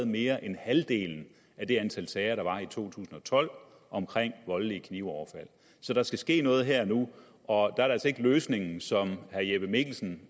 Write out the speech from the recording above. mere end halvdelen af det antal sager der var i to tusind og tolv om voldelige knivoverfald så der skal ske noget her og nu og der er det altså ikke løsningen som herre jeppe mikkelsen